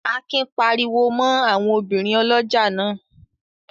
Akin pariwo mọ́ àwọn obìnrin ọlọ́jà náà?